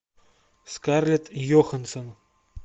скарлетт йоханссон